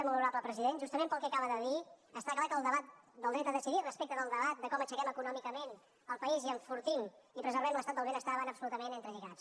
molt honorable president justament pel que acaba de dir està clar que el debat del dret a decidir respecte del debat de com aixequem econòmicament el país i enfortim i preservem l’estat del benestar van absolutament entrelligats